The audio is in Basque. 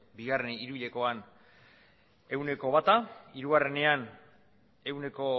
bigarren hiru hilekoan ehuneko bata hirugarrenean ehuneko